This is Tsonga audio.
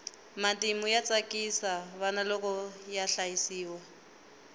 matimu ya tsakisa vana loko ya hlayiwa